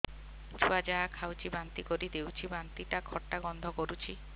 ଛୁଆ ଯାହା ଖାଉଛି ବାନ୍ତି କରିଦଉଛି ବାନ୍ତି ଟା ଖଟା ଗନ୍ଧ କରୁଛି